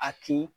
A kin